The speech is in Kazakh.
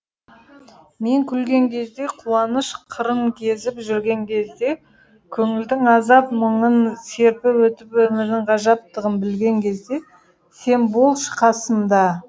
мен күлген кезде қуаныш қырын кезіп жүрген кезде көңілдің азап мұңын серпіп өтіп өмірдің ғажаптығын білген кезде сен болшы қасымда